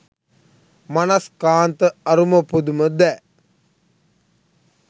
මනස්කාන්ත අරුම පුදුම දෑ